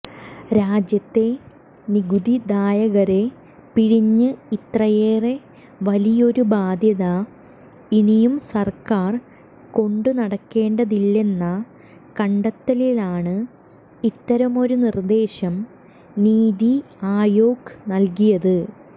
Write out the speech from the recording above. രാജ്യത്തെ നികുതിദായകരെ പിഴിഞ്ഞ് ഇത്രയേറെ വലിയൊരു ബാധ്യത ഇനിയും സർക്കാർ കൊണ്ടുനടക്കേണ്ടതില്ലെന്ന കണ്ടെത്തലിലാണ് ഇത്തരമൊരു നിർദേശം നീതി ആയോഗ് നൽകിയത്